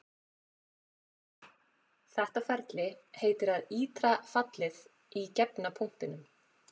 Þetta ferli heitir að ítra fallið í gefna punktinum.